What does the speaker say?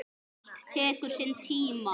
Allt tekur sinn tíma.